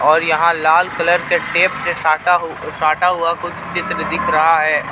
और यहाँ लाल कलर के टेप से साटा हु अ साटा हुआ कुछ चित्र दिख रहा है औ --